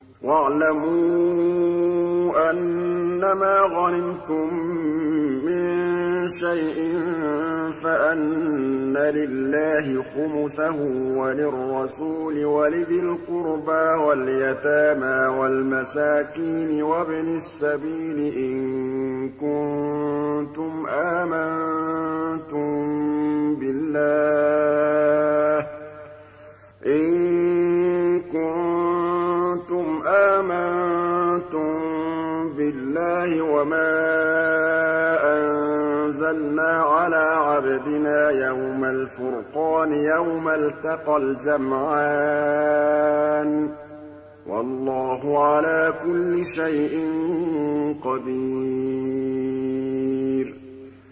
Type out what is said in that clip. ۞ وَاعْلَمُوا أَنَّمَا غَنِمْتُم مِّن شَيْءٍ فَأَنَّ لِلَّهِ خُمُسَهُ وَلِلرَّسُولِ وَلِذِي الْقُرْبَىٰ وَالْيَتَامَىٰ وَالْمَسَاكِينِ وَابْنِ السَّبِيلِ إِن كُنتُمْ آمَنتُم بِاللَّهِ وَمَا أَنزَلْنَا عَلَىٰ عَبْدِنَا يَوْمَ الْفُرْقَانِ يَوْمَ الْتَقَى الْجَمْعَانِ ۗ وَاللَّهُ عَلَىٰ كُلِّ شَيْءٍ قَدِيرٌ